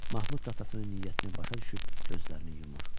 Mahmud da atasının niyyətini başa düşüb gözlərini yumur.